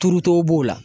Turutow b'o la